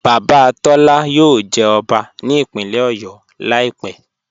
Baba Tọla yóò jẹ́ ọbá ní ìpínlẹ̀ Ọ̀yọ́ laípẹ̀.